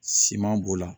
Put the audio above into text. Siman b'o la